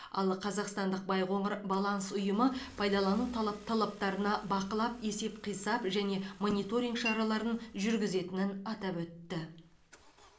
ал қазақстандық байқоңыр баланс ұйымы пайдалану талаптарына бақылап есеп қисап және мониторинг шараларын жүргізетенін атап өтті